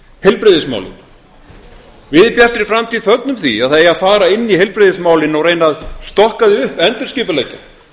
heilbrigðismálin við í bjartri framtíð fögnum því að það eigi að fara inn í heilbrigðismálin og reyna að stokka þau upp endurskipuleggja